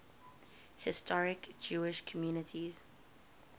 historic jewish communities